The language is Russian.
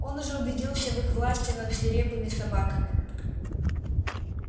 он уже убедился в их власти над свирепыми собаками